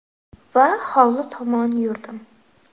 Va hovli tomon yurdim.